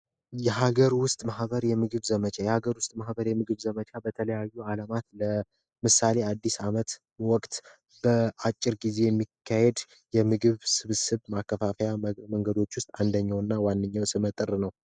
የሀገር ውስጥ ማህበር ምግብ ዘመቻ የሀገር ውስጥ ማህበር የምግብ ዘመቻ በተለያዩ ሀገራት ምሳሌ በአዲስ አመት ወቅት በአጭር ጊዜ የሚካሄደ የምግብ ስብስብ ማከፋፈያ መንገዶች አንደኛውና ዋነኛው ስመጥር ነው።